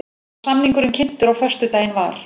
Var samningurinn kynntur á föstudaginn var